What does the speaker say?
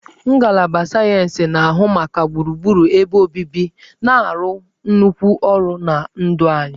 Ngalaba sayensị na-ahụ maka gburugburu ebe obibi na-arụ nnukwu ọrụ na ndụ anyị